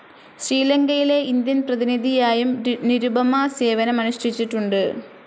ശ്രീലങ്കയിലെ ഇന്ത്യൻ പ്രതിനിധിയായും നിരുപമ സേവനമനുഷ്ഠിച്ചിട്ടുണ്ട്.